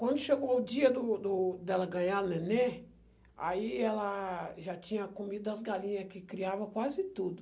Quando chegou o dia do do dela ganhar o neném, aí ela já tinha comido as galinhas que criava quase tudo.